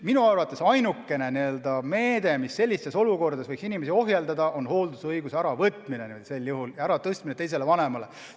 Minu arvates ainukene meede, mis sellistes olukordades võiks inimesi ohjeldada, on hooldusõiguse äravõtmine ja selle andmine teisele vanemale.